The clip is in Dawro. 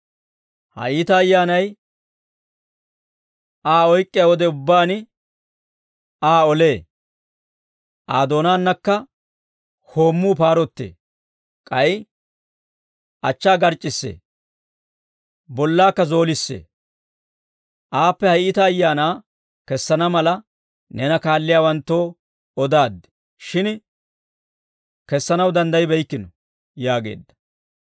Ha iita ayyaanay Aa oyk'k'iyaa wode ubbaan, Aa olee; Aa doonaannakka hoommuu paarottee; k'ay achchaa garc'c'issee; bollaakka zoolissee. Aappe ha iita ayaanaa kessana mala, neena kaalliyaawanttoo odaaddi, shin kessanaw danddaybbeykkino» yaageedda.